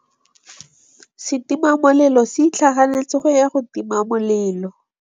Setima molelô se itlhaganêtse go ya go tima molelô.